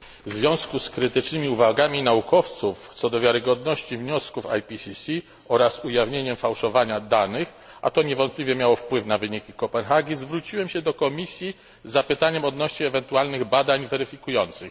Panie przewodniczący! W związku z krytycznymi uwagami naukowców, co do wiarygodności wniosków IPCC oraz ujawnieniem fałszowania danych, a to niewątpliwie miało wpływ na wynik konferencji w Kopenhadze, zwróciłem się do Komisji z zapytaniem odnośnie ewentualnych badań weryfikujących.